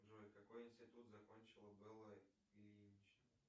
джой какой институт закончила белла ильинична